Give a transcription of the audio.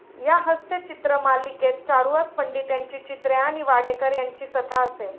या हस्यचित्र मालिकेत चारुहास पंडित यांची चित्रे आणि वाडेकर यांची कथा असे.